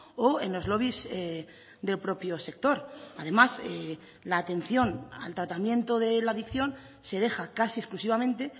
o en los lobbies del propio sector además la atención al tratamiento de la adicción se deja casi exclusivamente